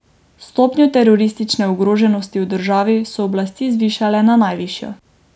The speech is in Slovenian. Stopnjo teroristične ogroženosti v državi so oblasti zvišale na najvišjo.